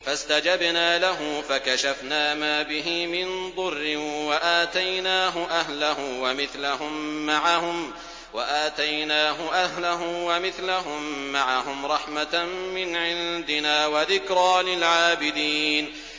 فَاسْتَجَبْنَا لَهُ فَكَشَفْنَا مَا بِهِ مِن ضُرٍّ ۖ وَآتَيْنَاهُ أَهْلَهُ وَمِثْلَهُم مَّعَهُمْ رَحْمَةً مِّنْ عِندِنَا وَذِكْرَىٰ لِلْعَابِدِينَ